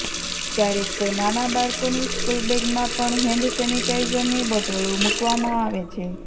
ક્યારેક તો નાના બાળકોની સ્કુલબેગમાં પણ હેન્ડ સેનિટાઇઝરની બોટલો મુકવામાં આવે છે